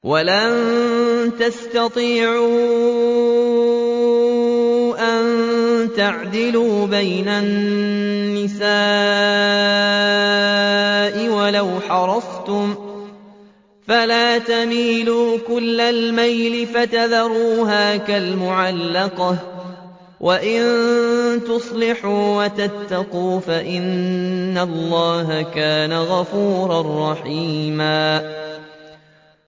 وَلَن تَسْتَطِيعُوا أَن تَعْدِلُوا بَيْنَ النِّسَاءِ وَلَوْ حَرَصْتُمْ ۖ فَلَا تَمِيلُوا كُلَّ الْمَيْلِ فَتَذَرُوهَا كَالْمُعَلَّقَةِ ۚ وَإِن تُصْلِحُوا وَتَتَّقُوا فَإِنَّ اللَّهَ كَانَ غَفُورًا رَّحِيمًا